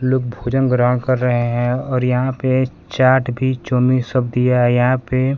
लोग भोजन ग्रहण कर रहे हैं और यहां पे चाट भी चाऊमीन सब दिया है यहां पे--